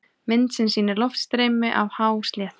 Mynd sem sýnir loftstreymi af hásléttu.